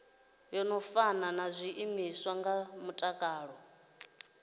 fani na zwiimiswa zwa mutakalo